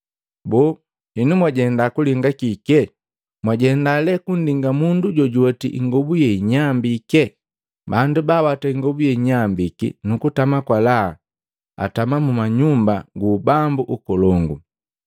Boo! Henu mwajenda kulinga kike? Mwajenda lee kundinga mundu jojuweti ingobu yeinyambike? Bandu baawata ingobu yeinyambiki nukutama kwa laha, atama mumanyumba gu ubambu ukolongu!